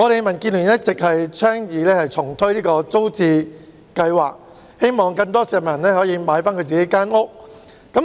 民建聯一直倡議重推租者置其屋計劃，希望讓更多市民可以購回自己的公屋單位。